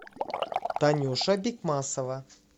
танюша бикмасова